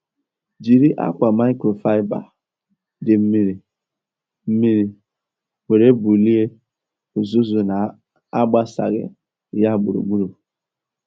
Jiri akwa microfiber dị mmiri mmiri were bulie uzuzu na-agbasaghị ya gburugburu.